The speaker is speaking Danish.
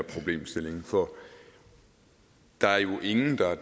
problemstilling for der er jo ingen der er